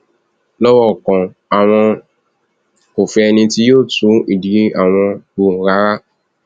lọrọ kan àwọn kò fẹ ẹni tí yóò tú ìdí àwọn wò rárá